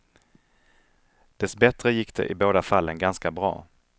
Dessbättre gick det i båda fallen ganska bra.